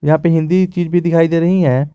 यहां पे हिंदी भी दिखाई दे रही हैं।